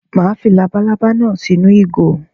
Màá fi labalábá náà sínú ìgò